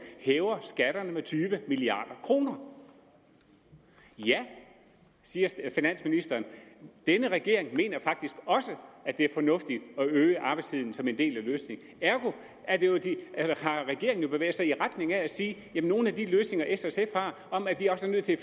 hæver skatterne med tyve milliard kroner ja siger finansministeren denne regering mener faktisk også at det er fornuftigt at øge arbejdstiden som en del af løsningen ergo har regeringen jo bevæget sig i retning af nogle af de løsninger s og sf har om at vi også er nødt til